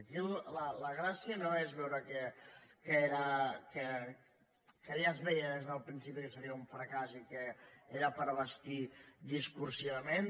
aquí la gràcia no és veure que ja es veia des del principi que seria un fracàs i que era per bastir discursivament